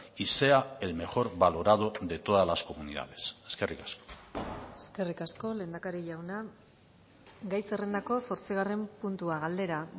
y sea el mejor valorado de todas las comunidades eskerrik asko eskerrik asko lehendakari jauna gai zerrendako zortzigarren puntua galdera